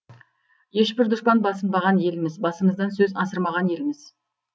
ешбір дұшпан басынбаған елміз басымыздан сөз асырмаған елміз